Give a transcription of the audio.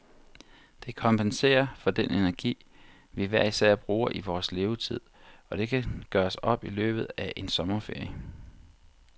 Det kompenserer for den energi, vi hver især bruger i vores levetid, og det kan gøres i løbet af en sommerferie.